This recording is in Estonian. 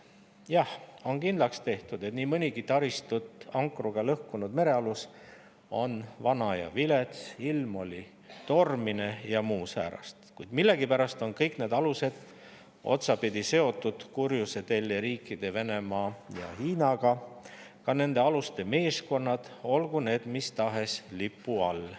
Jah, on kindlaks tehtud, et nii mõnigi taristut ankruga lõhkunud merealus on vana ja vilets, ilm oli tormine ja muud säärast, kuid millegipärast on kõik need alused otsapidi seotud kurjuse teljeriikide Venemaa ja Hiinaga, samuti nende aluste meeskonnad, olgu need mis tahes lipu all.